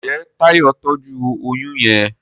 Njé Tayo tọjú oyún yén.